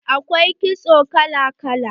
Akwai kitso kala kala.